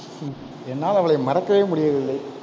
ஹம் என்னால் அவளை மறக்கவே முடியவில்லை.